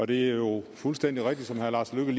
det er jo fuldstændig rigtigt som herre lars løkke